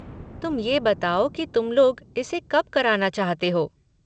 तुम ये बताओ कि तुम लोग इसे कब कराना चाहते हो?